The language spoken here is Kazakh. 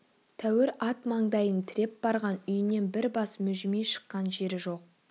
тәуір ат маңдайын тіреп барған үйінен бір бас мүжімей шыққан жері жоқ